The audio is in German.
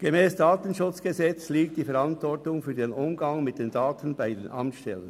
Gemäss KDSG liegt die Verantwortung für den Umgang mit den Daten bei den Amtsstellen.